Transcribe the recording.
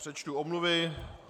Přečtu omluvy.